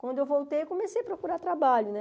Quando eu voltei, eu comecei a procurar trabalho, né?